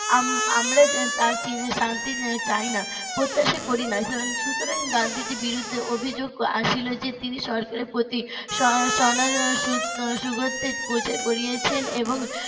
আম~ আমরা তার দেওয়া শান্তি চাই না প্রত্যাশা করি না সুতরাং গান্ধীজির বিরুদ্ধে অভিযোগ আসিল যে তিনি সরকারের প্রতি তিনি . করেছেন এবং